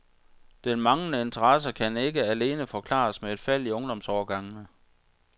Den manglende interesse kan ikke alene forklares med et fald i ungdomsårgangene.